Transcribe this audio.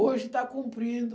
Hoje está cumprindo.